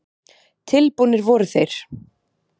Tilbúnir voru þeir.